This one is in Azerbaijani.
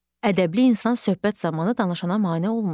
Ədəbli insan söhbət zamanı danışana mane olmur.